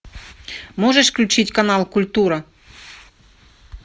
можешь включить канал культура